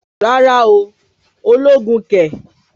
Rárá ooo, ológun kẹ̀!